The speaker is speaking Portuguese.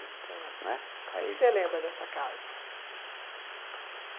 tá. Né? Aí... O que você lembra dessa casa?